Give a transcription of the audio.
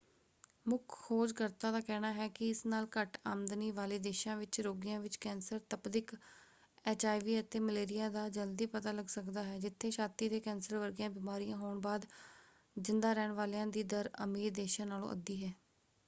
ਮੁੱਖ ਖੋਜ ਕਰਤਾ ਦਾ ਕਹਿਣਾ ਹੈ ਕਿ ਇਸ ਨਾਲ ਘੱਟ ਆਮਦਨੀ ਵਾਲੇ ਦੇਸ਼ਾਂ ਵਿੱਚ ਰੋਗੀਆਂ ਵਿੱਚ ਕੈਂਸਰ ਤਪਦਿਕ ਐਚਆਈਵੀ ਅਤੇ ਮਲੇਰੀਆ ਦਾ ਜਲਦੀ ਪਤਾ ਲਗ ਸਕਦਾ ਹੈ ਜਿੱਥੇ ਛਾਤੀ ਦੇ ਕੈਂਸਰ ਵਰਗੀਆਂ ਬਿਮਾਰੀਆਂ ਹੋਣ ਬਾਅਦ ਜਿੰਦਾ ਰਹਿਣ ਵਾਲਿਆ ਦੀ ਦਰ ਅਮੀਰ ਦੇਸ਼ਾਂ ਨਾਲੋਂ ਅੱਧੀ ਹੈ।